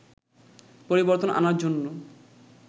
পরিবর্তন আনার জন্য